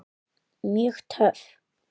Mjög töff.